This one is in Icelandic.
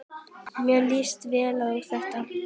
Mér líst vel á þetta.